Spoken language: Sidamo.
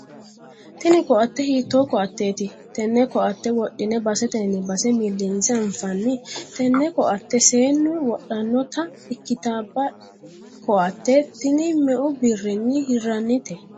tini koatte hiitto koatteeti? tenne koatte wodhine basetenni base millinse anfanni? tenne koatte seennu wodhannota ikkitaba koatte tini meu birrinni hirrannite?